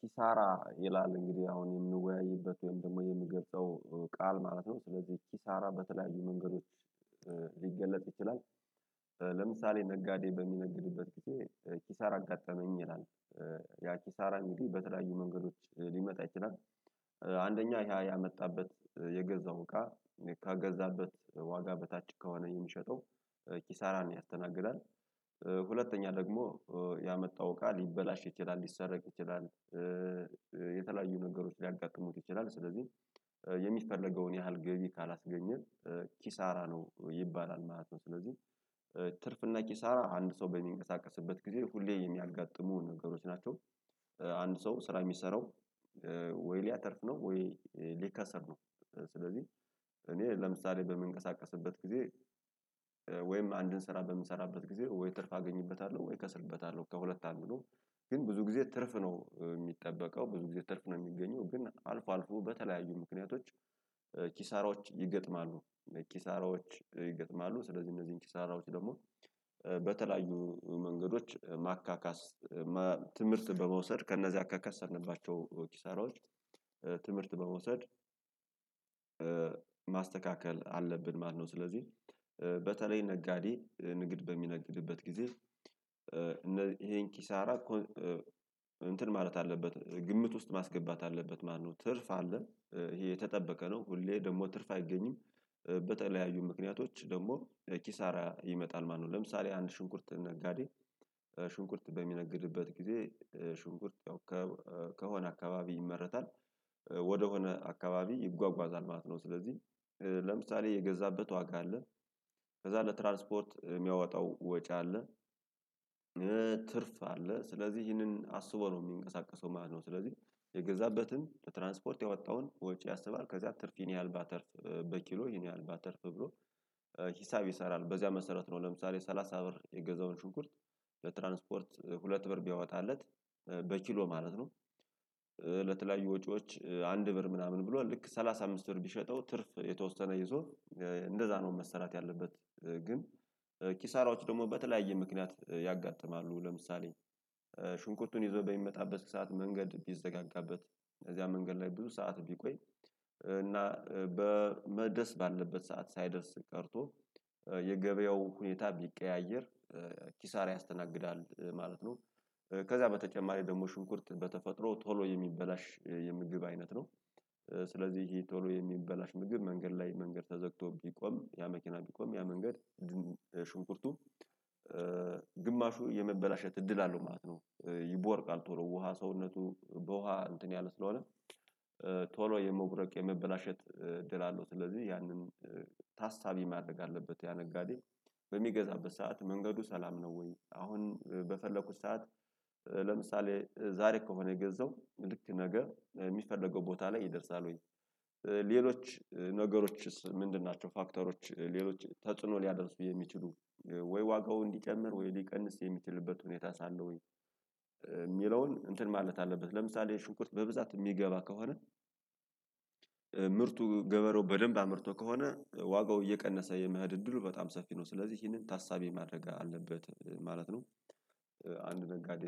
ኪሳራ ይላል እንግዲህ አሁን የምንወያይበት ወይም ደግሞ የምገልጸው ቃል ማለት ነው ስለዚህ ኪሳራ በተለያዩ መንገዶች ሊገለጥ ይችላል። ለምሳሌ ነጋዴ በሚነግድበት ጊዜ ኪሳራ አጋጠመኝ ይላል። ያ ኪሳራ እንግዲ በተለያዩ መንገዶች ሊመጣ ይችላል። አንደኛው ያ ያመጣበት የገዛው እቃ ከገዛበት ዋጋ በታች ከሆነ የሚሸጠው ኪሳራን ያስተናግዳል። ሁለተኛ ደግሞ ያመጣው እቃ ሊበላሽ ይችላል ሊሰረቅ ይችላል። የተለያዩ ነገሮች ሊያጋጥሙት ይችላል ስለዚህ የሚፈለገውን ያህል ገቢ ካላስገኘ ኪሳራ ነው ይባላል ማለት ነው። ስለዚህ ትርፍና ኪሳራ አንድ ሰው በሚንቀሳቀስበት ጊዜ ሁሌ የሚያጋጥሙ ነገሮች ናቸው። አንድ ሰው ስራ የሚሰራው ወይ ሊያተርፍ ነው ወይ ሊከሰር ነው። ስለዚህ እኔ ለምሳሌ በምንቀሳቀስበት ጊዜ ወይም አንድን ስራ በምሰራበት ጊዜ ወይ ትርፍ አገኝበታለሁ ወይ ከስርበታለሁ ከሁለት አንዱ ነው። ግን ብዙ ጊዜ ትርፍ ነው የሚጠበቀው ብዙ ጊዜ ትርፍ ነው የሚገኘው ግን አልፎ አልፎ በተለያዩ ምክንያቶች ኪሳሮች ይገጥማሉ። ኪሳራዎች ይገጥማሉ ስለዚህ እነዚህን ኪሳራዎች ደግሞ በተለያዩ መንገዶች ማካካስ ትምህርት በመውሰድ ከነዛ ከከሰርንንባቸው ኪሳራዎች ትምህርት በመውሰድ። ማስተካከል አለብን ማለት ነው። ስለዚህ በተለይ ነጋዴ ንግድ በሚነግድበት ጊዜ ይሄን ኪሳራ እንትን ማለት አለበት ግምት ውስጥ ማስገባት አለበት ማነው ትርፍ አለ ይሄ የተጠበቀ ነው ሁሌ ደግሞ ትርፍ አይገኝም። በተለያዩ ምክንያቶች ደግሞ ኪሳራ ይመጣል ማለት ነው። ለምሳሌ አንድ ሽንኩርት ነጋዴ ሽንኩርት በሚነግድበት ጊዜ ሽንኩርት ያው ከሆነ አካባቢ ይመረታል። ወደሆነ አካባቢ ይጓጓዛል ማለት ነው ስለዚህ ለምሳሌ የገዛበት ዋጋ አለ ከዛ ለትራንስፖርት የሚያወጣው ወጪ አለ። ትርፍ አለ ስለዚህ ይህንን አስቦ ነው የሚንቀሳቀሰው ማለት ነው። ስለዚህ የገዛበትን ለትራንስፖርት ያወጣውን ወጪ ያሰባል ከዛ ትርፍ ይሄን ያህል ባተርፍ በኪሎ ይሄን ያህል ባተርፍ ብሎ ሂሳብ ይሰራል በዚያ መሰረት ነው። ለምሳሌ ሰላሳ ብር የገዛውን ሽኩርት ለትራንስፖርት ሁለት ብር ቢያወጣለት በኪሎ ማለት ነው። ለተለያዩ ወጪዎች አንድ ብር ምናምን ብሏል ልክ ሰላሳ አምስት ብር ቢሸጠው ትርፍ የተወሰነ ይዞ እንደዛ ነው መሰራት ያለበት ግን። ኪሳራዎች ደግሞ በተለያየ ምክንያት ያጋጥማሉ ለምሳሌ ሽንኩርቱን ይዞ በሚመጣበት ሰዓት መንገድ ቢዘጋጋበት እነዚህ መንገድ ላይ ብዙ ሰዓት ቢቆይ እና በመድረስ ባለበት ሰዓት ሳይደርስ ቀርቶ የገበያው ሁኔታ ቢቀያየር ኪሳራ ያስተናግዳል ማለት ነው። ከዛ በተጨማሪ ደግሞ ሽንኩርት በተፈጥሮ ቶሎ የሚበላሽ የምግብ አይነት ነው። ስለዚህ ይሄ ቶሎ የሚበላሽ ምግብ መንገድ ላይ መንገድ ተዘግቶ ቢቆም ያ መኪና ቢቆም ያ መንገድ ሽንኩርቱ ግማሹ የመበላሸት እድል አለው ማለት ነው። ይቦርቃል ቶሎ ውሃ ሰውነቱ በውሃ እንትን ያለ ስለሆነ ቶሎ የሞብረቅ የመበላሸት እድል አለው። ስለዚህ ያንን ታሳቢ ማድረግ አለበት ያ ነጋዴ በሚገዛበት ሰዓት መንገዱ ሰላም ነው ወይ አሁን በፈለኩት ሰዓት ለምሳሌ ዛሬ ከሆነ የገዛው ልክ ነገ የሚፈለገው ቦታ ላይ ይደርሳል ወይ? ሌሎች ነገሮችስ ምንድን ናቸው? ፋክተሮች ሌሎች ተጽዕኖ ሊያደርሱ የሚችሉ ወይ ዋጋው እንዲጨምር ወይ ሊቀንስ የሚችሉበት ሁኔታስ አለው ወይ? የሚለውን እንትን ማለት አለበት ለምሳሌ ሽንኩርት በብዛት የሚገባ ከሆነ ምርቱ ገበሬው በደንብ አምርቶ ከሆነ ዋጋው እየቀነሰ የመሄድ እድሉ በጣም ሰፊ ነው ስለዚህ ይህንን ታሳቢ ማድረግ አለበት ማለት ነው። አንድ ነጋዴ